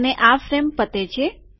અને આ ફ્રેમ પતે છે